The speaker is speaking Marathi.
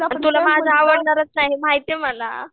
अरे तुला माझा आवडणारच नाही हे माहिती ये मला